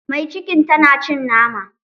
Mai cikin tana cin nama